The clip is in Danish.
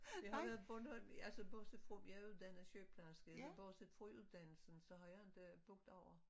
Jeg har været Bornholm altså bortset fra jeg er uddannet sygeplejerske så bortset fra uddannelsen så har jeg ikke boet derovre